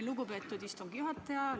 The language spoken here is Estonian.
Lugupeetud istungi juhataja!